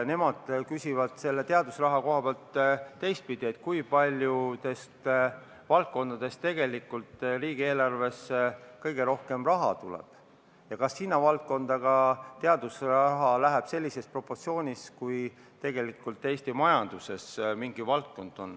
Nemad küsivad selle teadusraha kohta teistpidi: mis valdkondadest tegelikult riigieelarvesse kõige rohkem raha tuleb ja kas sinna valdkonda läheb teadusraha sellises proportsioonis, nagu tegelikult selle valdkonna osa Eesti majanduses on?